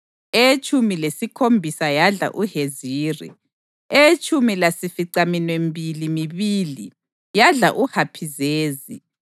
eyetshumi lesikhombisa yadla uHeziri, eyetshumi lasificaminwembili mibili yadla uHapizezi,